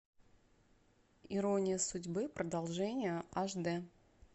ирония судьбы продолжение аш д